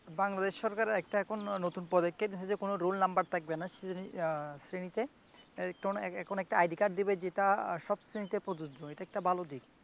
বাংলাদেশ সরকার একটা এখন নতুন প্রজেক্টে কোনো রোল নাম্বার থাকবে না হম শ্রেণীতে। এখন একটা আইডি কার্ড দিবে যেটা সব শ্রেণীতে প্রযোজ্য এটা একটা ভালোদিক